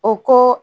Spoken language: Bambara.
O ko